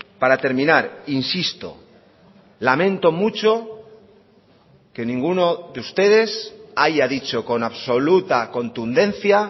para terminar insisto lamento mucho que ninguno de ustedes haya dicho con absoluta contundencia